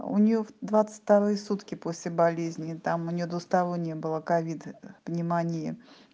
у неё в двадцать вторые сутки после болезни там у неё двусторонняя была ковид пневмония